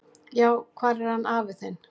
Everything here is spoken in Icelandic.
"""Já, hvar er hann afi þinn?"""